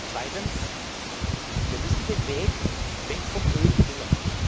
Zweitens Wir müssen den Weg weg vom Öl gehen.